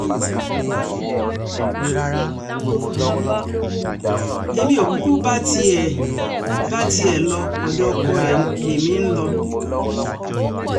èmi ò kúkú tiẹ̀ um bá tiẹ̀ lo ọ̀dọ̀ ọkọ ẹ lèmi um ń lọ